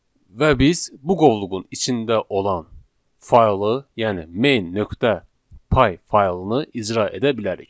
Və biz bu qovluğun içində olan faylı, yəni main.py faylını icra edə bilərik.